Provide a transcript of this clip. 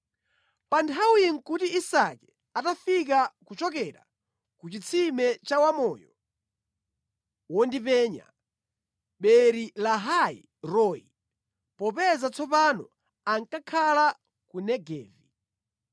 Pa nthawiyi nʼkuti Isake atafika kuchokera ku chitsime cha Wamoyo Wondipenya (Beeri-lahai-roi), popeza tsopano ankakhala ku Negevi.